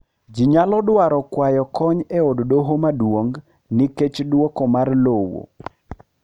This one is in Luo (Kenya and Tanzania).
ji nyalo dwaro kwayo kony e od doho maduong nikech dwoko mar lowo